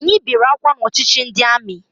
Anyị bere akwa n'ọchịchị ndị amị